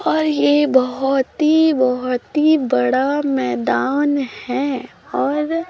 और ये बहोत ही बहोत ही बड़ा मैदान है और--